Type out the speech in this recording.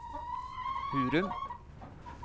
Hurum